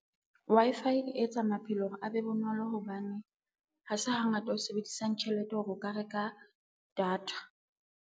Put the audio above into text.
Wi-Fi e etsa maphelo hore a be bonolo hobane, ha se hangata o sebedisang tjhelete hore o ka reka data.